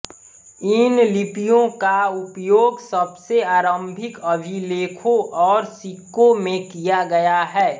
इन लिपियों का उपयोग सबसे आरम्भिक अभिलेखों और सिक्कों में किया गया है